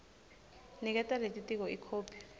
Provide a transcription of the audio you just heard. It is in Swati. niketa lelitiko ikhophi